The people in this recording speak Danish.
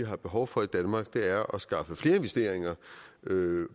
har behov for i danmark er at skaffe flere investeringer